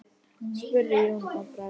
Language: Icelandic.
spurði Jón að bragði.